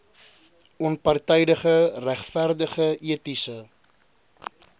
onpartydige regverdige etiese